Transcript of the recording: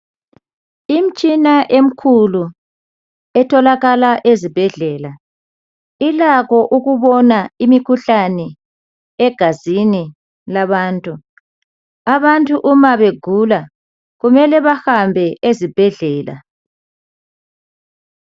imitshina emkhulu etholakala ezibhedlela ilakho ukubona imikhuhlane egazini labantu abantu uma begula kumele behambe esibhedlela